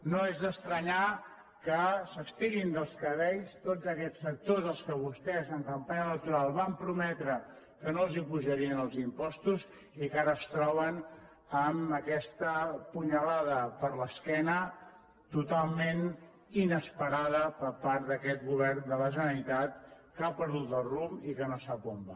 no és d’estranyar que s’estirin els cabells tots aquests sectors els que vostès en campanya electoral van prometre que no els apujarien els impostos i que ara es troben amb aquesta punyalada a l’esquena totalment inesperada per part d’aquest govern de la generalitat que ha perdut el rumb i que no sap on va